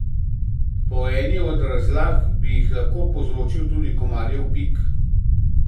Po eni od razlag bi jih lahko povzročil tudi komarjev pik.